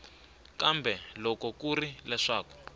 kambe loko ku ri leswaku